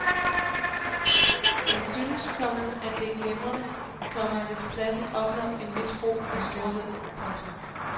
Han synes, komma at det er glimrende, komma hvis pladsen opnår en vis ro og storhed. punktum